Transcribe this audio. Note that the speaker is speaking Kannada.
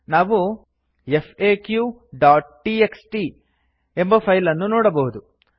ನಾವು faqಟಿಎಕ್ಸ್ಟಿ ಎಂಬ ಫೈಲ್ ಅನ್ನು ನೋಡಬಹುದು